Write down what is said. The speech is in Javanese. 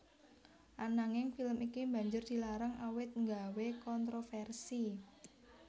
Ananging film iki banjur dilarang awit nggawé kontroversi